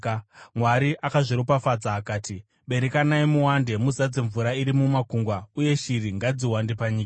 Mwari akazviropafadza akati, “Berekanai muwande muzadze mvura iri mumakungwa, uye shiri ngadziwande panyika.”